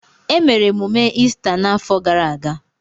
Emere emume Ista n'afọ gara aga.